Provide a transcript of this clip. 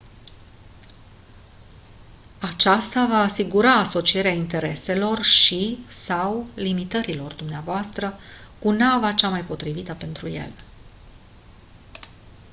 aceasta va asigura asocierea intereselor și/sau limitărilor dvs. cu nava cea mai potrivită pentru ele